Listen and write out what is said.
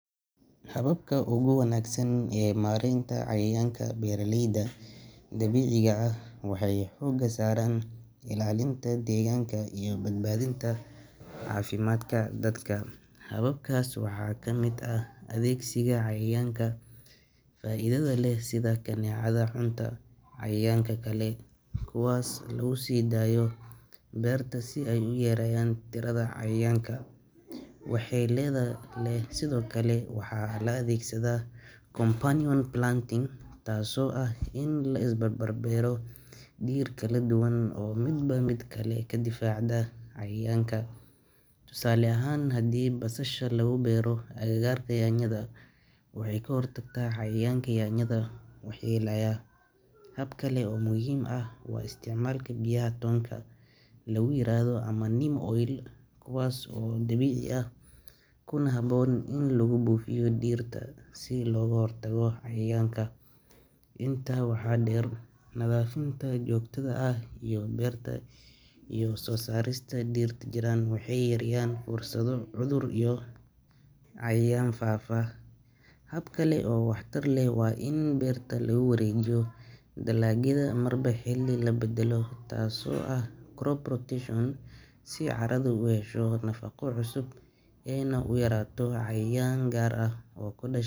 Hababka ugu wanaagsan ee maaraynta cayayaanka ee beeralaydu dabiiciga ah waxay xooga saaraan ilaalinta deegaanka iyo badbaadinta caafimaadka dadka. Qababkaas waxaa ka mid ah adeegsiga cayayaanka faa’iidada leh, sida adeegsiga kaneecada cuntada iyo cayayaan kale, kuwaas oo lagu sii daayo beerta si ay u yareeyaan tirada cayayaanka. Sidoo kale, waxaa la adeegsadaa compartment planting, taasoo ah in la isku barbar beero dhir kala duwan oo midba midda kale ka difaacda cayayaanka. Tusaale ahaan, haddii basasha lagu ag beero agagarga yaanyada, waxay ka hortagtaa cayayaanka waxyeeleeya yaanyada. Hab kale waa isticmaalka biyaha dhirta lagu yiraahdo neem oil, kuwaas oo dabiici ah kuna habboon in lagu buufiyo dhirta si looga hortago cayayaanka. Intaa waxaa dheer, nadaafadda joogtada ah ee beerta iyo soosaarista dhirta jirran waxay yareeyaan fursado cudurrada iyo cayayaanka faafa. Hab kale oo waax taar leh waa in dalagyadu marba xilli la beddelo crop rotation, si carada u hesho nafaqo cusub iyo in uu yaraado cayayaan gaar ah oo ku dhashay.